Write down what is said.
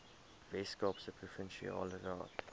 weskaapse provinsiale raad